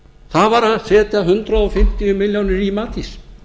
það var að setja hundrað fimmtíu milljónir í matís